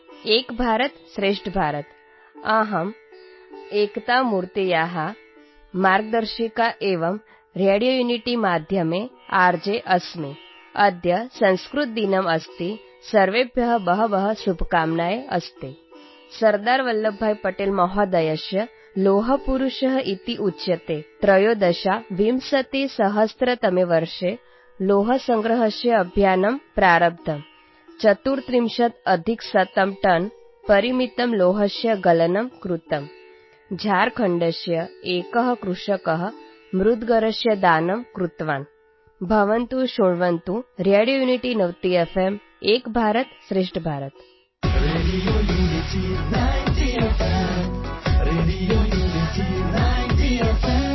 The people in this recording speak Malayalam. radio unity ninety F M